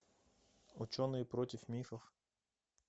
ученые против мифов